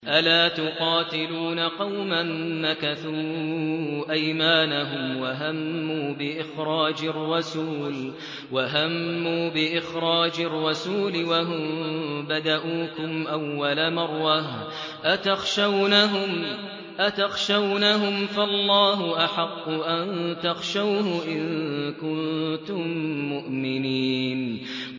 أَلَا تُقَاتِلُونَ قَوْمًا نَّكَثُوا أَيْمَانَهُمْ وَهَمُّوا بِإِخْرَاجِ الرَّسُولِ وَهُم بَدَءُوكُمْ أَوَّلَ مَرَّةٍ ۚ أَتَخْشَوْنَهُمْ ۚ فَاللَّهُ أَحَقُّ أَن تَخْشَوْهُ إِن كُنتُم مُّؤْمِنِينَ